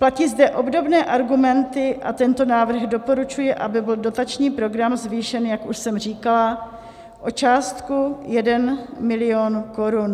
Platí zde obdobné argumenty a tento návrh doporučuje, aby byl dotační program zvýšen, jak už jsem říkala, o částku 1 mil. korun.